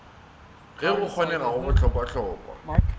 ge go kgonega go bohlokwahlokwa